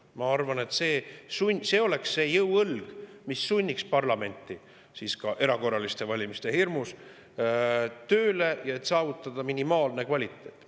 Ma arvan, et see oleks see jõuõlg, mis sunniks parlamenti ka erakorraliste valimiste hirmus tööle, et saavutada minimaalne kvaliteet.